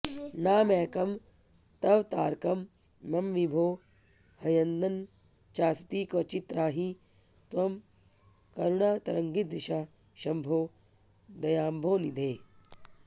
नामैकं तव तारकं मम विभो ह्यन्यन्न चास्ति क्वचित् त्राहि त्वं करुणातरङ्गितदृशा शंभो दयाम्भोनिधे